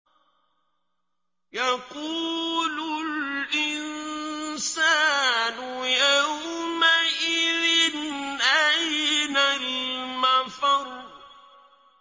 يَقُولُ الْإِنسَانُ يَوْمَئِذٍ أَيْنَ الْمَفَرُّ